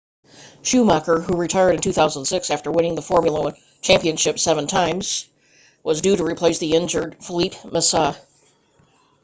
schumacher who retired in 2006 after winning the formula 1 championship seven times was due to replace the injured felipe massa